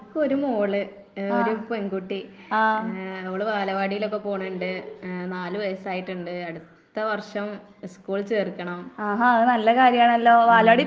എന്ക്ക് ഒരു മോള്, ഒരു പെൺകുട്ടി. ഏഹ് അവള് ബാലവാടിയിലൊക്കെ പോണണ്ട് ഏഹ് നാല് വയസ്സായിട്ടിണ്ട് അടുത്ത വർഷം സ്കൂളിൽ ചേർക്കണം. ഉം